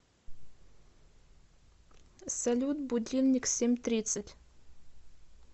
салют будильник семь тридцать